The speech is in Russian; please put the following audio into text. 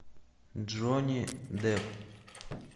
джонни депп